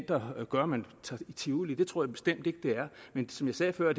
der afgør om man tager i tivoli det tror jeg bestemt ikke det er men som jeg sagde før